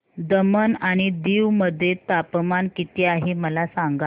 दमण आणि दीव मध्ये तापमान किती आहे मला सांगा